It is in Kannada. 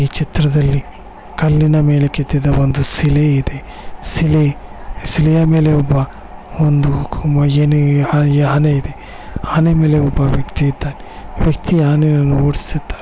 ಈ ಚಿತ್ರದಲ್ಲಿ ಕಲ್ಲಿನ ಮೇಲೆ ಕೆತ್ತಿರುವ ಒಂದು ಶಿಲೆ ಇದೆ ಶಿಲೆಯ ಮೇಲೆ ಒಬ್ಬ ಒಂದು ಆನೆ ಇದೆ ಆನೆಯ ಮೇಲೆ ಒಬ್ಬ ವ್ಯಕ್ತಿ ಇದ್ದಾನೆ ವ್ಯಕ್ತಿಯು ಆನೆಯನ್ನು ಓಡಿಸ್ತಾ ಇದ್ದಾನೆ